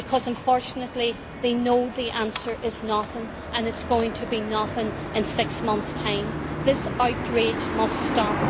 Unfortunately, they know that the answer is nothing, and it is going to be nothing in six months' time. This outrage must stop.